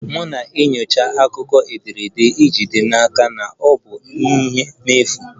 M na-enyocha akụkọ ederede iji jide n'aka na ọ bụ njehie n'efu